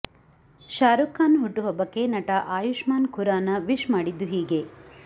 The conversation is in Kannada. ಶಾರುಖ್ ಖಾನ್ ಹುಟ್ಟುಹಬ್ಬಕ್ಕೆ ನಟ ಆಯುಷ್ಮಾನ್ ಖುರಾನ ವಿಶ್ ಮಾಡಿದ್ದು ಹೀಗೆ